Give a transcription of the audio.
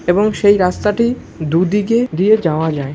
এবং সেই রাস্তাটি দুদিকে দিয়ে যাওয়া যায় ।